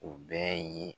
U bɛɛ ye